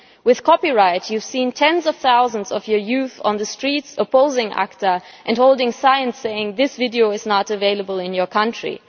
With copyright, you have seen tens of thousands of your young people on the streets opposing ACTA and holding signs saying this video is not available in your country'.